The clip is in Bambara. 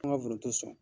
An ka foronto san